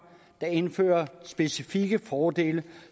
der indfører specifikke fordele